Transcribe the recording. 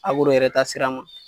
yɛrɛ taasira ma.